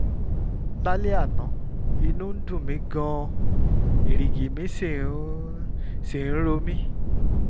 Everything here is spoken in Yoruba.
lálẹ́ àná inú ń dùn mí gan-an erìgì mi sì ń sì ń ro mí